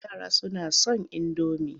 Yara suna son indomi.